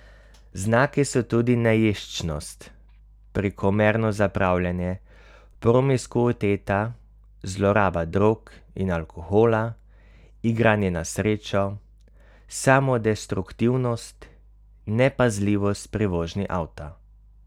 Znaki so tudi neješčnost, prekomerno zapravljanje, promiskuiteta, zloraba drog in alkohola, igranje na srečo, samodestruktivnost, nepazljivost pri vožnji avta.